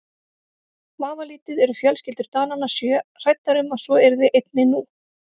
Vafalítið eru fjölskyldur Dananna sjö hræddar um að svo yrði einnig nú.